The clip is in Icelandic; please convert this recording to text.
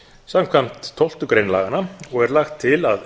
samkvæmt tólftu grein laganna og er lagt til að